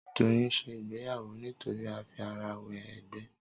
Doyin ń ṣe ìgbéyàwó nítorí àfi ara wẹ ègbé